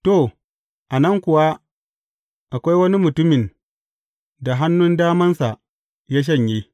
To, a nan kuwa akwai wani mutumin da hannun damansa ya shanye.